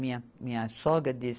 Minha, minha sogra disse